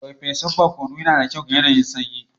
Farfesun barkono yana da kyau ga yanayin sanyi.